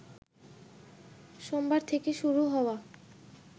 সোমবার থেকে শুরু হওয়া